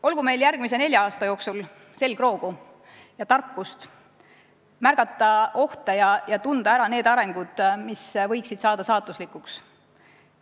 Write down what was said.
Olgu meil järgmise nelja aasta jooksul selgroogu ja tarkust märgata ohte ja tunda ära need arengud, mis võiksid saada saatuslikuks.